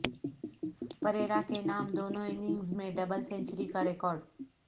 پریرا کے نام دونوں اننگز میں ڈبل سنچری کا ریکارڈ